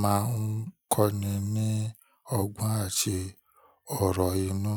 máa ń kọ́ni ní ọgbọ́n àti ọ̀rọ̀ inú.